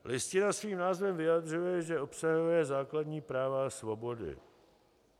Listina svým názvem vyjadřuje, že obsahuje základní práva a svobody.